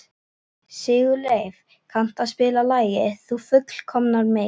Sigurleif, kanntu að spila lagið „Þú fullkomnar mig“?